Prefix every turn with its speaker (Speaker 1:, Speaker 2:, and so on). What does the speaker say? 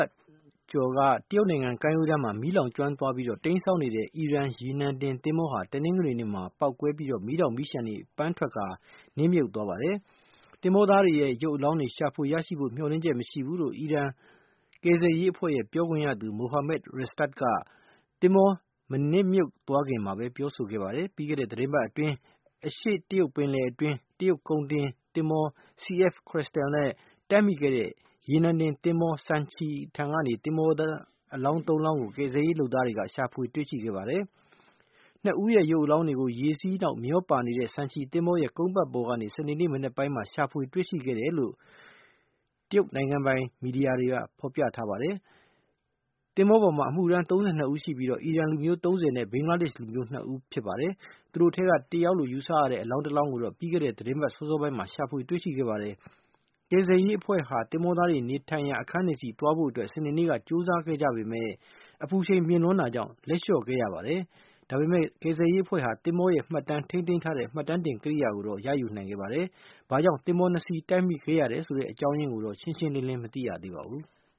Speaker 1: တ်ကျော်က တရုတ်နိုင်ငံကမ်းရိုးတမ်းမှာ မီးလောင်ကျွမ်းပြီး တိမ်းစောင်းနေတဲ့ အီရန် ရေနံတင် သင်္ဘောဟာ တနင်္ဂနွေနေ့မှာ ပေါက်ကွဲပြီး မီးတောက်မီးလျှံတွေ ပန်းထွက်ကာ နစ်မြုပ်သွားပါတယ်။ သင်္ဘောသားတွေရဲ့ ရုပ်အလောင်းတွေ ပြန်ရဖို့ မျှော်လင့်ချက်မရှိဘူးလို့ အီရန်ကယ်ဆယ်ရေးအဖွဲ့ရဲ့ ပြောခွင့်ရသူ Mohammad Rastad က သင်္ဘောနစ်မြုတ်မသွားခင်မှာ ပြောဆိုပါတယ်။ ပြီးခဲ့တဲ့သီတင်းပတ်အတွင်း အရှေ့တရုတ်ပင်လယ်အတွင်း တရုတ်ကုန်တင်သင်္ဘော CF Crystal နဲ့ တိုက်မိခဲ့တဲ့ ရေနံတင်သင်္ဘော Sanchi ထံက သင်္ဘောသား အလောင်း သုံးလောင်းကို ကယ်ဆယ်ရေးလုပ်သားတွေက ရှာဖွေရရှိခဲ့ပါတယ်။ နှစ်ဦးရဲ့ ရုပ်အလောင်းတွေကို ရေစီးနောက်မျောပါနေတဲ့ Sanchi သဘောၤရဲ့ ကုန်းပတ်ပေါ်ကနေ စနေနေ့ မနက်ပိုင်းမှာ ရှာဖွေတွေ့ရှိခဲ့တယ်လို့ တရုတ်နိုင်ငံပိုင် သတင်းဌာနက ပြောပါတယ်။ သင်္ဘောပေါ်မှာ အမှုထမ်း ၃၂ ဦး ရှိပြီး အီရန်လူမျိုး ၃၀ နဲ့ ဘင်္ဂလားဒေ့ရှ် လူမျိုး နှစ်ဦး ဖြစ်ပါတယ်။ သူတို့အထဲက တယောက်လို့ ယူဆရတဲ့ အလောင်းတလောင်းကိုတော့ ပြီးခဲ့တဲ့ သီတင်းပတ် စောစောပိုင်းမှာ ရှာတွေ့ခဲ့ပါတယ်။ ကယ်ဆယ်ရေးအဖွဲ့ဟာ သင်္ဘောသားတွေနေထိုင်ရာ အခန်းတွေဆီသွားဖို့ စနေနေ့က ကြိုးစားခဲ့ကြပေမယ့် အပူချိန်မြင့်လွန်းတာကြောင့် လက်လျှော့ခဲ့ရပါတယ်။ ဒါပေမဲ့ ကယ်ဆယ်ရေးအဖွဲ့ဟာ သင်္ဘောရဲ့ မှတ်တမ်းတင် ကိရိယာကို ရယူနိုင်ခဲ့ပါတယ်။ သင်္ဘော နှစ်စီး ဘာ့ကြောင့်တိုက်မိတယ်ဆိုတဲ့ အကြောင်းရင်းကိုတော့ ရှင်းရှင်းလင်းလင်း မသိရသေးပါဘူး။